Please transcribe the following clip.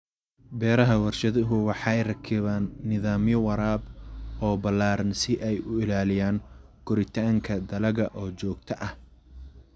Beeraha warshaduhu waxay rakibaan nidaamyo waraab oo ballaaran si ay u ilaaliyaan koritaanka dalagga oo joogto ah.